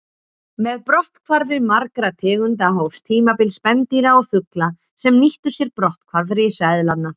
Með brotthvarfi margra tegunda hófst tímabil spendýra og fugla sem nýttu sér brotthvarf risaeðlanna.